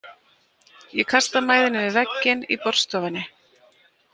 Ég kasta mæðinni við vegginn í borðstofunni.